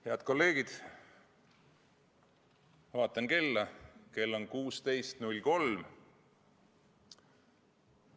Head kolleegid, ma vaatan kella: kell on 16.03.